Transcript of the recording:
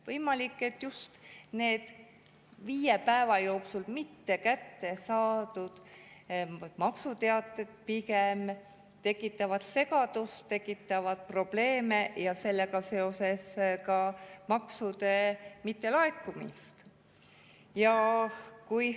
Võimalik, et just need viie päeva jooksul mitte kätte saadud maksuteated pigem tekitavad segadust, tekitavad probleeme ja sellega seoses ka maksude mittelaekumist.